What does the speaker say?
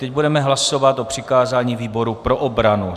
Teď budeme hlasovat o přikázání výboru pro obranu.